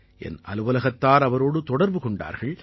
என் அலுவலகத்தார் அவரோடு தொடர்பு கொண்டார்கள்